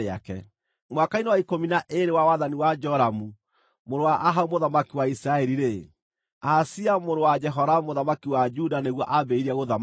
Mwaka-inĩ wa ikũmi na ĩĩrĩ wa wathani wa Joramu mũrũ wa Ahabu mũthamaki wa Isiraeli-rĩ, Ahazia mũrũ wa Jehoramu mũthamaki wa Juda nĩguo ambĩrĩirie gũthamaka.